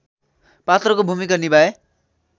पात्रको भूमिका निभाए